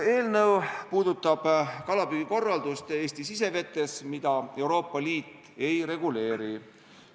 Eelnõu puudutab kalapüügikorraldust Eesti sisevetes, mida Euroopa Liit ei reguleeri.